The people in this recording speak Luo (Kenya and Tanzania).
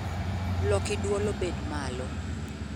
Loki dwol obed malo